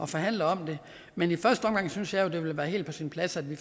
forhandle om det men i første omgang synes jeg jo det vil være helt på sin plads at vi